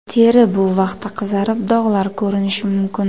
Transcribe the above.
Teri bu vaqtda qizarib, dog‘lar ko‘rinishi mumkin.